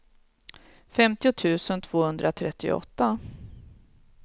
femtio tusen tvåhundratrettioåtta